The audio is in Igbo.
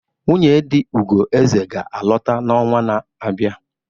Nwunye di Ugoeze ga-alọta n'ọnwa na-abịa.